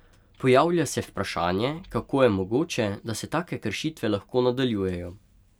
Pojavlja se vprašanje, kako je mogoče, da se take kršitve lahko nadaljujejo.